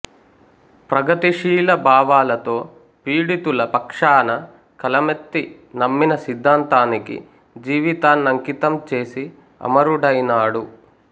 ప్రగతిశీల భావాలతో పీడితుల పక్షాన కలమెత్తి నమ్మిన సిద్ధాంతానికి జీవితాన్నంకితం చేసి అమరుడైనాడు